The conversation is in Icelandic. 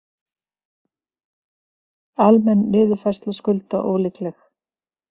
Almenn niðurfærsla skulda ólíkleg